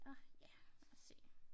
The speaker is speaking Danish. Åh ja lad os se